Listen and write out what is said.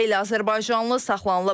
Xeyli azərbaycanlı saxlanılıb.